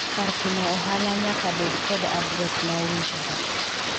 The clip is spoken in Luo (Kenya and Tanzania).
kar timo ohala nyake bed kod adres ma owinjore